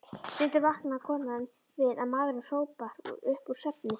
Stundum vaknaði konan við að maðurinn hrópaði upp úr svefni: